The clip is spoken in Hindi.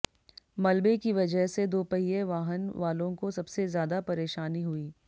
मलबे की वजह से दोपहिए वाहन वालों को सबसे ज्यादा परेशानी हुई